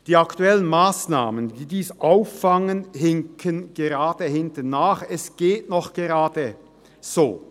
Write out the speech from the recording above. Die aktuellen Massnahmen, die dies auffangen, hinken hinterher – es geht gerade noch so.